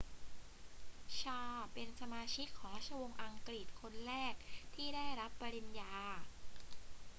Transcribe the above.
ชาร์ลส์เป็นสมาชิกของราชวงศ์อังกฤษคนแรกที่ได้รับปริญญา